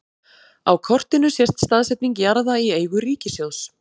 á kortinu sést staðsetning jarða í eigu ríkissjóðs